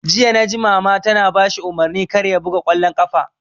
Jiya naji Mama tana bashi umarnin kar ya buga ƙwallon ƙafa!